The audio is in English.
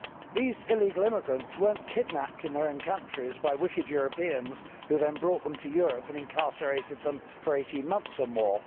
These illegal immigrants were not kidnapped in their own countries by wicked Europeans who then brought them to Europe and incarcerated them for eighteen months or more.